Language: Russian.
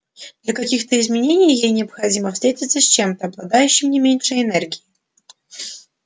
для каких-то изменений ей необходимо встретиться с чем-то обладающим не меньшей энергией